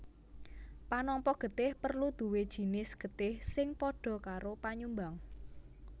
Panampa getih perlu duwé jinis getih sing padha karo panyumbang